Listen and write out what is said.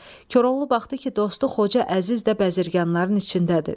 Koroğlu baxdı ki, dostu Xoca Əziz də bəziryanların içindədir.